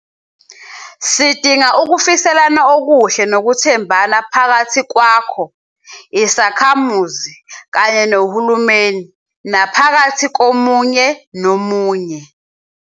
Sidinga ukufiselana okuhle nokuthembana phakathi kwakho, isakhamuzi, kanye nohulumeni, naphakathi komunye nomunye.